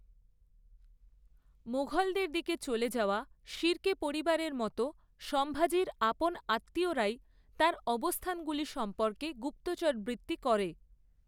মুঘলদের দিকে চলে যাওয়া শিরকে পরিবারের মতো সম্ভাজির আপন আত্মীয়রাই তাঁর অবস্থানগুলি সম্পর্কে গুপ্তচরবৃত্তি করে।